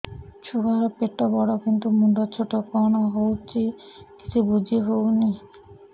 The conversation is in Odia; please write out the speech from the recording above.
ଛୁଆର ପେଟବଡ଼ କିନ୍ତୁ ମୁଣ୍ଡ ଛୋଟ କଣ ହଉଚି କିଛି ଵୁଝିହୋଉନି